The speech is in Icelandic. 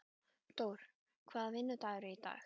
Dór, hvaða vikudagur er í dag?